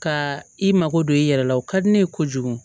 Ka i mako don i yɛrɛ la o ka di ne ye kojugu